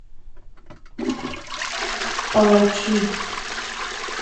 палачи